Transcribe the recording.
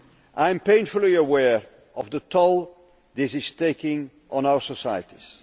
I am painfully aware of the toll this is taking on our societies.